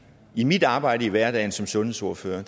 i mit arbejde i hverdagen som sundhedsordfører er